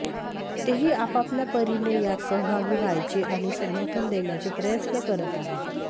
तेही आपआपल्या परीने यात सहभागी व्हायचे आणि समर्थन देण्याचे प्रयत्न करत आहे